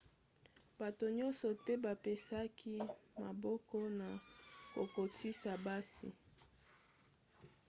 bato nyonso te bapesaki maboko na kokotisa basi